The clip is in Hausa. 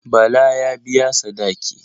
Bala ya biya sadaki.